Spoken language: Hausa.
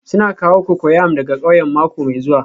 Suna kawo cocoyam daga ƙauyen mako mai zuwa